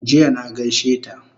Jiya na gaishe ta